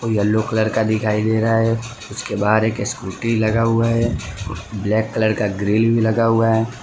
Yellow colour का दिखाई दे रहा है उसके बाहर एक स्कूटी लगा हुआ है ब्लैक कलर का ग्रिल भी लगा हुआ है।